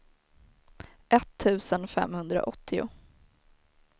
etttusen femhundraåttio